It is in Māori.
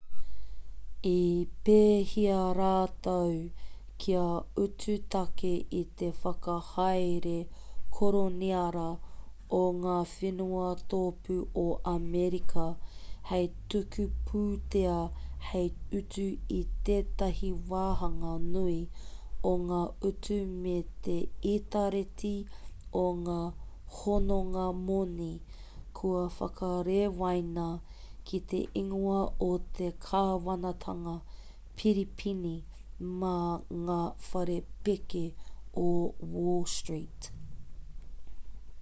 i pēhia rātou kia utu tāke ki te whakahaere koroniara o ngā whenua tōpū o amerika hei tuku pūtea hei utu i tētahi wāhanga nui o ngā utu me te itareti o ngā hononga-moni kua whakarewaina ki te ingoa o te kāwanatanga piripīni mā ngā whare pēke o wall street